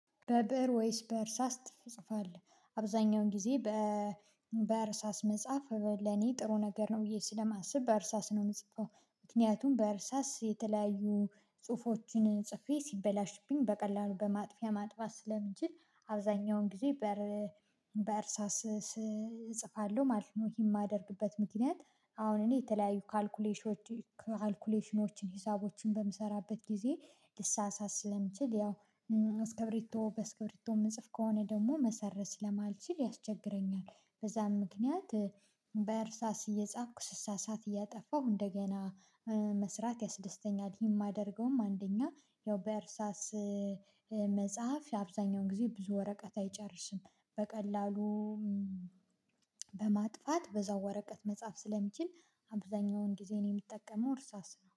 በብእር ወይስ በእርሳስ ትጽፋለህ? አብዛኛውን ጊዜ በእርሳስ መጽሐፍ ለኔ ጥሩ ነገር ነው ብዬ ስለማስብ በእርሳስ ነው የምጽፈው። ምክንያቱም በእርሳስ የተለያዩ ጽሁፎችን ጽፌ ሲበላሽብኝ በቀላሉ በማጥፊያ ማጥፋት ስለምችል አብዛኛውን ጊዜ በእርሳስ እጽፋለሁ ማለት ነው። ይህም የማደርግበት ምክንያት አሁን እኔ የተለያዩ ካልኩሌሽኖች ካልኩሌሽኖችን ሂሳቦችን በምሰራበት ጊዜ ልሳሳት ስለምችል ያው አስከብሪቶ በአስከብሪቶ የምጽፍ ከሆነ ደግሞ መሰረዝ ስለማልችል ያስቸግረኛል። በዛም ምክንያት በእርሳስ እየጻፍኩ ስሳሳት እያጠፋሁ እንደገና መስራት ያስደስተኛል። የማደርገውም አንደኛ ያው በእርሳስ መጻፍ የአብዛኛውን ጊዜ ብዙ ወረቀት አይጨርስም። በቀላሉ በማጥፋት በዛው ወረቀት መጻፍ ስለምችል አብዛኛውን ጊዜ እኔ የምጠቀመው እርሳስ ነው